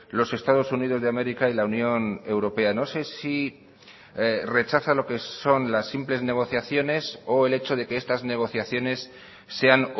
los estados unidos de américa y la unión europea no sé si rechaza lo que son las simples negociaciones o el hecho de que estas negociaciones sean